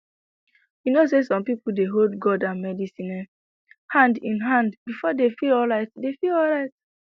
you know say some people dey hold god and medicine um hand in hand before dey feel alright dey feel alright